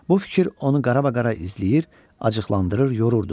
Bu fikir onu qarabaqara izləyir, acıqlandırır, yorurdu.